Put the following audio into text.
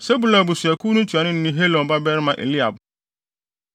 Sebulon abusuakuw no ntuanoni ne Helon babarima Eliab;